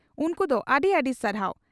ᱩᱱᱠᱩ ᱫᱚ ᱟᱹᱰᱤ ᱟᱹᱰᱤ ᱥᱟᱨᱦᱟᱣ ᱾